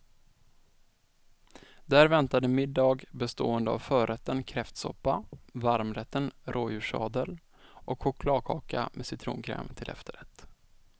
Där väntade middag bestående av förrätten kräftsoppa, varmrätten rådjurssadel och chokladkaka med citronkräm till efterrätt.